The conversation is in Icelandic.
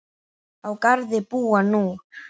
Á Garði búa nú